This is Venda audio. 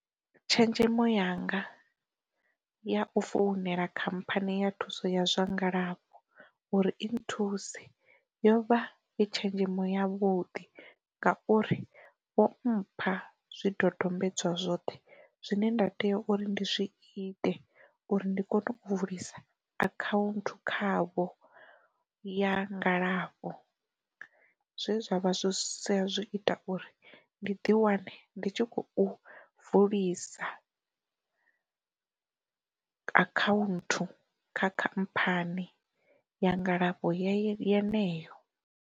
Tshenzhemo yanga ya u founela khamphani ya thuso ya zwa ngalafho uri i nthusa yo vha i tshenzhemo ya vhuḓi, ngauri vho mpha zwi dodombedzwa zwoṱhe zwine nda tea uri ndi zwi ite uri ndi kone u vulisa akhaunthu khavho ya ngalafho, zwe zwavha zwi sia zwo ita uri ndi ḓi wane ndi tshi khou vulisa akhaunthu kha khamphani ya ngalafho yeneyo.